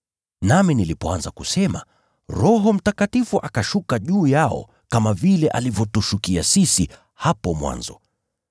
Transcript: “Nami nilipoanza kusema, Roho Mtakatifu akashuka juu yao kama vile alivyotushukia sisi hapo mwanzo.